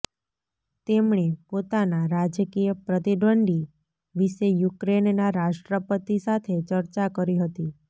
તેમણે પોતાના રાજકીય પ્રતિદ્વંદ્વી વિશે યુક્રેનના રાષ્ટ્રપતિ સાથે ચર્ચા કરી હતી